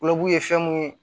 ye fɛn mun ye